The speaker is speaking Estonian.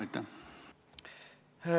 Aitäh!